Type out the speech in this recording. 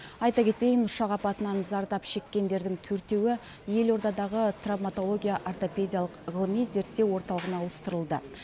айта кетейін ұшақ апатынан зардап шеккендердің төртеуі елордадағы травматология ортопедиялық ғылыми зерттеу орталығына ауыстырылды